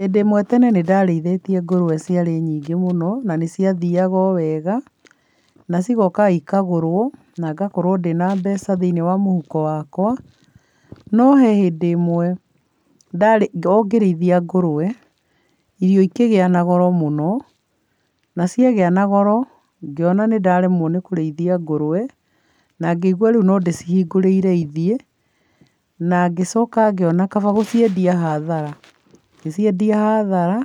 Hĩndĩ ĩmwe tene nĩ ndarĩithĩtie ngũrũwe ciarĩ nyingĩ mũno, na nĩ ciathiaga o wega, na cigoka ikagũrwo na ngakorwo ndĩna mbeca thĩiniĩ wa mũhuko wakwa, no he hĩndĩ ĩmwe o ngĩrĩithia ngũrũwe, irio ikĩgĩa na goro mũno, na ciagĩa na goro, ngĩona nĩ ndaremwo nĩ kũrĩithia ngũrũwe, na ngĩigua rĩu no ndĩcihingũrĩire ithiĩ na ngicoka ngĩona kaba gũciendia hathara, ngĩciendia hathara